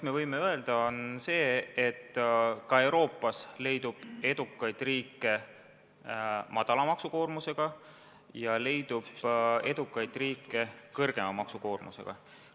Me võime öelda, et ka Euroopas leidub edukaid väikese maksukoormusega riike ja leidub ka edukaid suurema maksukoormusega riike.